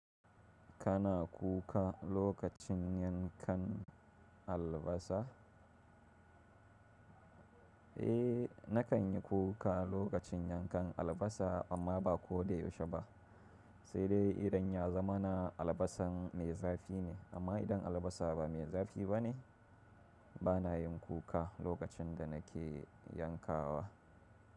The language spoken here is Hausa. Kana kuka lokacin yankan albasa? Eh nakan yi kuka lokacin yankan albasa amma ba ko da yaushe ba, sai dai idan ya zama na albasan mai zafi ne. Amma idan albasa ba mai zafi ba ne, bana yin kuka lokacin da nake yankawa.